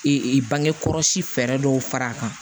bange kɔlɔsi fɛɛrɛ dɔw fara a kan